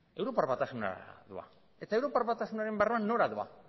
europar batasuna da eta europar batasunaren barruan nora doa